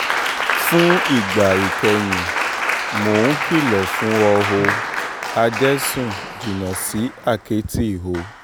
fún ìgbà ìkẹyìn mò ń kìlọ̀ fún o ò adẹ́sùn jìnnà sí àkẹ́tì o